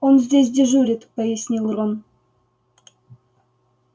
он здесь дежурит пояснил рон